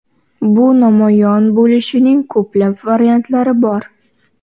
Bu namoyon bo‘lishining ko‘plab variantlari bor.